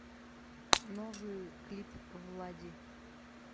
новый клип влади